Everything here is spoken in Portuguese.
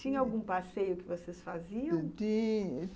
Tinha algum passeio que vocês faziam?